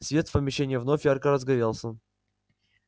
свет в помещении вновь ярко разгорелся